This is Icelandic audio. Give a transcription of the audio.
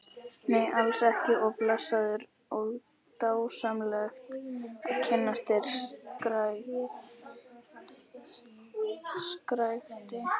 Nei, sæll og blessaður og dásamlegt að kynnast þér, skrækti